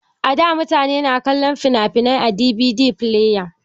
A da mutane na kallon fina-finai a DVD fileya